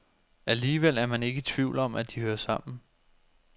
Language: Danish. Alligevel er man ikke i tvivl om, at de hører sammen.